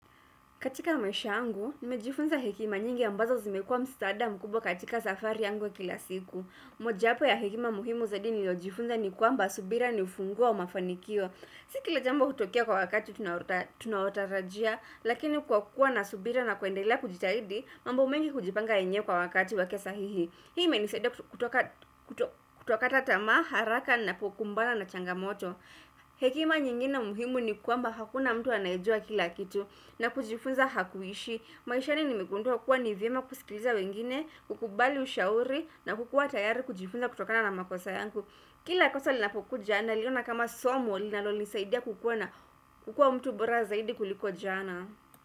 Katika mwesha angu, nimejifunza hekima nyingi ambazo zimekua mstada mkubwa katika safari angu wa kila siku. Mojapo ya hekima muhimu zadini lojifunza ni kuamba subira nifungua wa mafanikio. Si kila jambo kutokia kwa wakati tunautarajia, lakini kukua na subira na kuendelea kujitaidi, mambo mengi kujipanga enye kwa wakati wa kesahihi. Hii imenisada kutoka tatama, haraka na kukumbana na changamoto. Hekima nyingi na muhimu ni kuamba hakuna mtu anajua kila kitu, na kujifunza hakuishi maishani nimegundu hakuwa nivyema kusikiliza wengine kukubali ushauri na kukua tayari kujifunza kutokana na makosa yangu Kila kosa linapoku jana liyo na kama somo linalo lisaidia kukua na kukua mtu bora zaidi kuliko jana.